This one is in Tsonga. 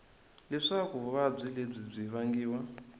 leswaku vuvabyi lebyi byi vangiwa